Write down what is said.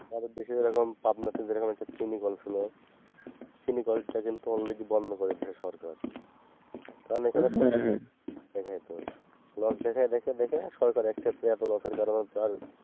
আমাদের দেশে যেরকম পাবনাতে যেরকম চিনি কল ছিল চিনি কলটা কিন্তু already বন্ধ করে দিয়েছে সরকার, কারণ এখানে দেখা যেত লোভ দেখায় দেখে দেখে সরকারের এত লসের কারণে আর।